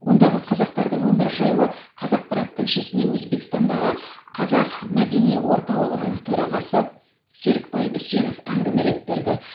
ондағы қазақтарының өмірі жайлы қазақпарат тілшісіне өзбекстандағы қазақ мәдени орталығының төрағасы серікбай үсенов әңгімелеп берді